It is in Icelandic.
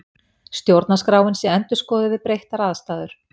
Stjórnarskráin sé endurskoðuð við breyttar aðstæður